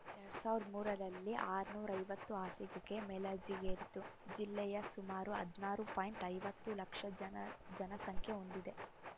ಎರಡ್ ಸಾವಿರದ ಮೂರರಲ್ಲಿ ಆರನೂರ ಐವತ್ತು ಹಾಸಿಗೆಗೆ ಮೇಲರ್ಜಿಗೇರಿತು ಜಿಲ್ಲೆಯ ಸುಮಾರು ಹದನಾರು ಪಾಯಿಂಟ್ ಐವತ್ತು ಲಕ್ಷ ಜನ ಜನಸಂಖ್ಯೆ ಹೊಂದಿದೆ